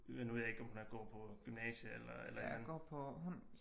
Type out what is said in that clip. Nu ved jeg ikke om hun har gået på gymnasiet eller et eller andet